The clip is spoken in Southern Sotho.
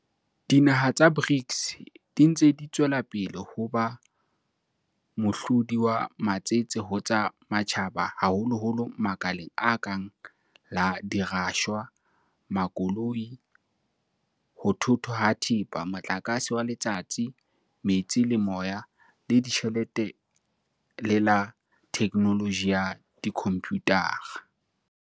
Dinaha tsa BRICS di ntse di tswela pele ho ba mohlodi wa matsete ho tsa matjhaba haholoholo makaleng a kang la dirashwa, makoloi, ho thothwa ha thepa, motlakase wa letsatsi, metsi le moya, la ditjhelete le la thekenoloji ya dikhomputara.